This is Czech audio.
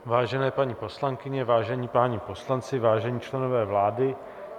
Vážené paní poslankyně, vážení páni poslanci, vážení členové vlády.